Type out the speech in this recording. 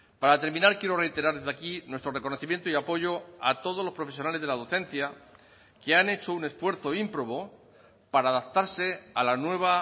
para terminar quiero reiterar desde aquí nuestro reconocimiento y apoyo a todos los profesionales de la docencia que han hecho un esfuerzo ímprobo para adaptarse a la nueva